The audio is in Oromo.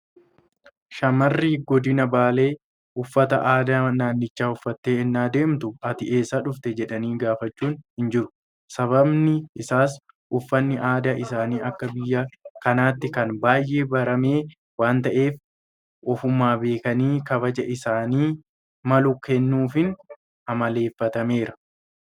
Shaammarri godina baalee uffata aadaa naannichaa uffattee ennaa deemtu ati eessaa dhufte jedhanii gaafachuun hinjiru. Sababni isaas uffanni aadaa isaanii akka biyya kanaatti kan baay'ee barame waanta ta'eef ofumaan beekanii kabaja isaaniif malu kennuufiin amaleeffatameera.